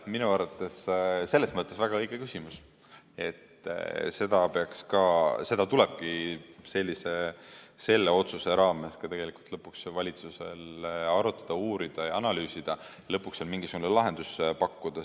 Minu arvates selles mõttes väga õige küsimus, et seda tulebki selle otsuse raames valitsusel arutada, uurida ja analüüsida ning lõpuks ka mingisugune lahendus pakkuda.